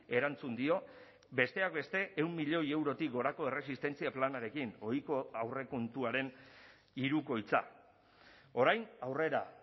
erantzun dio besteak beste ehun milioi eurotik gorako erresistentzia planarekin ohiko aurrekontuaren hirukoitza orain aurrera